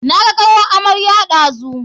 Naga kawar amarya ɗazu.